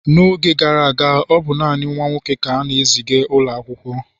n'oge gara aga, ọ bụ naanị nwa nwoke ka a na-eziga n'ụlọ akwụkwọ